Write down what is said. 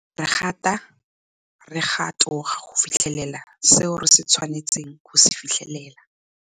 Re gata re ga toga go fitlhelela seo re tshwanetseng go se fitlhelela.